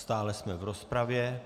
Stále jsme v rozpravě.